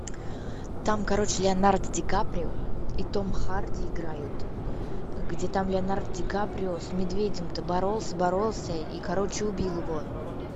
там короче леонардо ди каприо и том харди играют где там леонардо ди каприо с медведем то боролся боролся и короче убил его